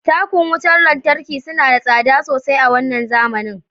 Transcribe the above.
Takun wutar lantarki suna da tsada sosai a wannan zamanin